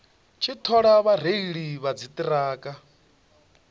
tshi thola vhareili vha dziṱhirakha